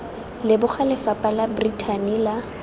leboga lefapha la brithani la